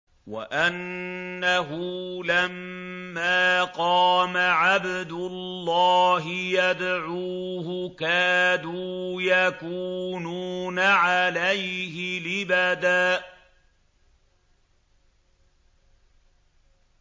وَأَنَّهُ لَمَّا قَامَ عَبْدُ اللَّهِ يَدْعُوهُ كَادُوا يَكُونُونَ عَلَيْهِ لِبَدًا